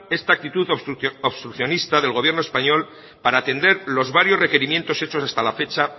esta actitud obstruccionista del gobierno español para atender los varios requerimientos hechos hasta la fecha